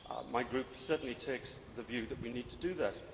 My group certainly takes the view that we need to do that.